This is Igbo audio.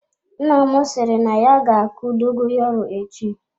Nna m sịrị na ya ga-akụ dogoyaro echi.